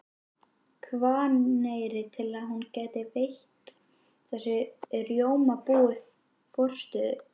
Hvanneyri til að hún gæti veitt þessu rjómabúi forstöðu.